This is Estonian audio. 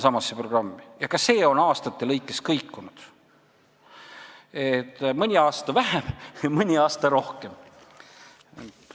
Ka see on aastate lõikes kõikunud: mõni aasta vähem, mõni aasta rohkem.